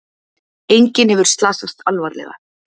Enginn hefur slasast alvarlega